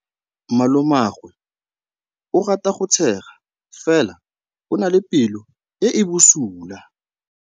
Malomagwe o rata go tshega fela o na le pelo e e bosula.